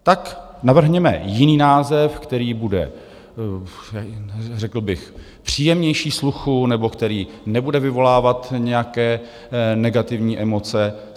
Tak navrhněme jiný název, který bude řekl bych příjemnější sluchu nebo který nebude vyvolávat nějaké negativní emoce.